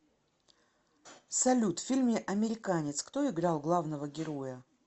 салют в фильме американец кто играл главного героя